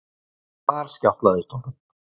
En þar skjátlaðist honum.